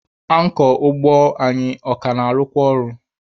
Ankọ ụgbọ anyị a ka na-arụkwa ọrụ?